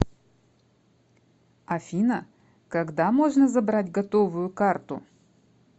афина когда можно забрать готовую карту